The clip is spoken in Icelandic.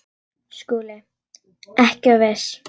SKÚLI: Ekki of viss!